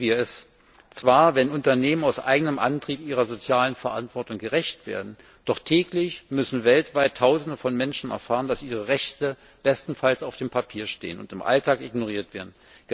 So begrüßen wir es zwar, wenn Unternehmen aus eigenem Antrieb ihrer sozialen Verantwortung gerecht werden, doch täglich müssen weltweit tausende von Menschen erfahren, dass ihre Rechte bestenfalls auf dem Papier stehen und im Alltag ignoriert werden.